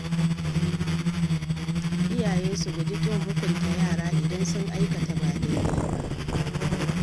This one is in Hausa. Iyaye su guji ƙin hukunta yara idan sun aikata ba dai-dai ba.